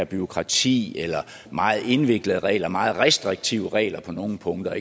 bureaukrati eller meget indviklede regler eller meget restriktive regler på nogle punkter